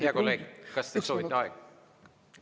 Hea kolleeg, kas te soovite aega juurde?